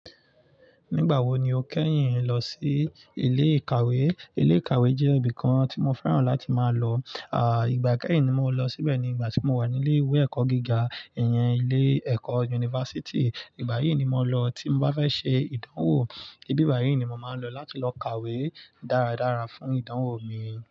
Nígbà wo ni o kẹ́yìn lọ sí ilé ìkàwé? Ilé ìkàwé jẹ́ ibìkan tí mo fẹ́ràn láti máa lọ. À, ìgbà kẹ́yìn ni mo lọ síbẹ̀ nígbà tí mo wà ní ilé ìwé ẹ̀kọ́ gíga, ìyẹn ilé ẹ̀kọ́ unifásítì. Ìbáyìí ni mo lọ tí mo bá fẹ́ ṣe ìdánwò. Ibi báyìí ni mo máa ń lọ láti lọ kàwé dáradára fún ìdánwò mi.